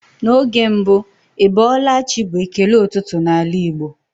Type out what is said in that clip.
N'oge mbụ "Ị bọọla chi" bụ ekele ụtụtụ n'ala Igbo.